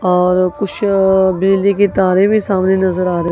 और कुछ अ बिजली की तारें भी सामने नजर आ--